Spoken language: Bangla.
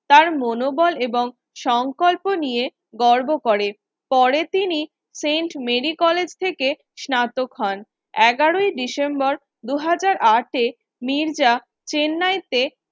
তার মনোবল এবং সংকল্প নিয়ে গর্ব করেন পরে তিনি সেন্ট মেরি কলেজ থেকে স্নাতক হন এগারোই December দু হাজার আট এ মির্জা চেন্নাইতে